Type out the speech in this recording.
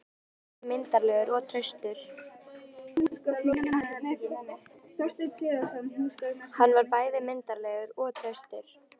Hann var bæði myndarlegur og traustur.